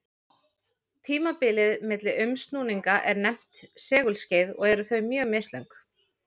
Tímabilið milli umsnúninga er nefnt segulskeið og eru þau mjög mislöng.